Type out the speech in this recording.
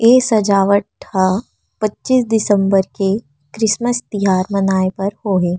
ए सजवाट ह पचीस दिसम्बर के क्रिमेस तिहार मनाए बर हो हे।